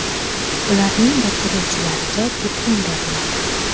Ularning bitiruvchilariga diplom beriladi.